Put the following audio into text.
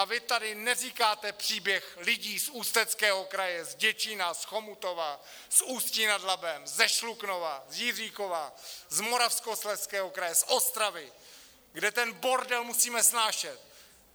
A vy tady neříkáte příběh lidí z Ústeckého kraje, z Děčína, z Chomutova, z Ústí nad Labem, ze Šluknova, z Jiříkova, z Moravskoslezského kraje, z Ostravy, kde ten bordel musíme snášet!